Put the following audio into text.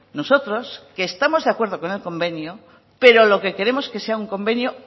nosotros que estamos de acuerdo con convenio pero lo que queremos es que sea un convenio